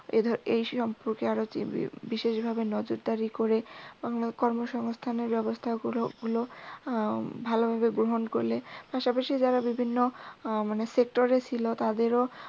এই সম্পর্কে আরও বিশেশভাবে নজরদারি কর্মসংস্থানের ব্যাবস্থাগুল উম ভালভাবে গ্রহন করলে পাশাপাশি যারা বিভিন্ন আহ মানে sector এ ছিল